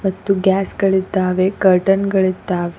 ಮತ್ತು ಗ್ಯಾಸ್ ಗಳಿದ್ದಾವೆ ಕರ್ಟನ್ ಗಳಿದ್ದಾವೆ.